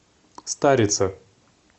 старице